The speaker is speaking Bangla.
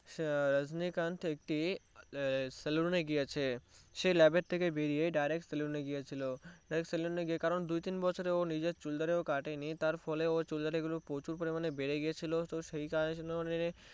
রাজনীকান্থ একটি saloon এ গিয়েছে সে Lab এর থেকে বের হয়ে Direct saloon এ গিয়েছিলো কারন দু তিন বছরেও নিজের চুল দাড়ি কাটেনি তার ফলে ওর চুল দাড়িগুলো প্রচুর পরিমানে বেড়ে গিয়েছিলো তো সেই